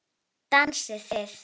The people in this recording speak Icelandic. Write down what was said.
Dansið þið.